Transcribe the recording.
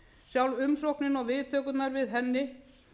sjálf umsóknin og viðtökurnar við henni